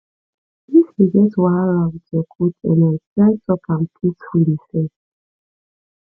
if you get wahala with your co ten ant try talk am peacefully first